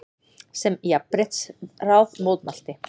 sem Jafnréttisráð mótmælti.